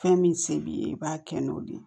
Fɛn min se b'i ye i b'a kɛ n'o de ye